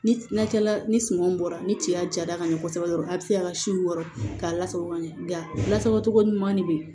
Ni na cɛla ni sumanw bɔra ni ciya jara ka ɲɛ kosɛbɛ dɔrɔn a bi se ka si wɔɔrɔ k'a lasago ka ɲɛ lasago cogo ɲuman ne be yen